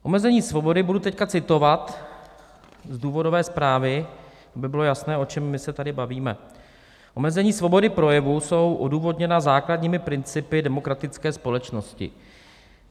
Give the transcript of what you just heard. Omezení svobody - budu teď citovat z důvodové zprávy, aby bylo jasné, o čem my se tady bavíme - omezení svobody projevu jsou odůvodněna základními principy demokratické společnosti.